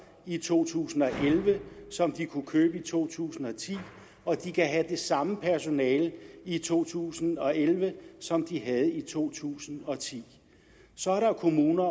i to tusind og elleve som de kunne købe i to tusind og ti og de kan have det samme personale i to tusind og elleve som de havde i to tusind og ti så er der kommuner